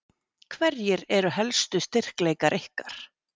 Hverjir eru helstu styrkleikar ykkar?